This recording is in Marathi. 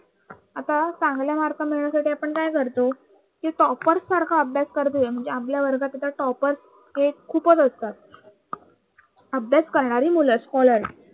आता चांगले Mark मिळवण्यासाठी आपण काय करतो कि Topar सारखा अभ्यास करतोय म्हणजे आपल्या वर्गात आता Topar हे खूपच असतात अभ्यास करणारी मुलं Scolar